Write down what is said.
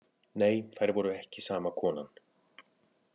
Nei þær voru ekki sama konan.